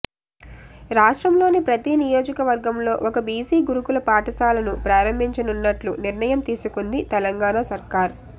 రాష్ట్రంలోని ప్రతి నియోజకవర్గంలో ఒక బీసీ గురుకుల పాఠశాలను ప్రారంభించనున్నట్లు నిర్ణయం తీసుకుంది తెలంగాణ సర్కార్